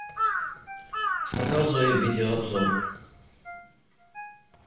показывай видеообзор